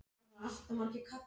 Eða er þetta síðasti áfanginn?